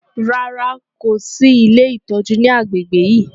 Rárá, kò sì ilé ìtọ́jú ní agbègbè yìí.